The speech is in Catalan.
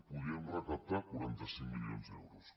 podíem recaptar quaranta cinc milions d’euros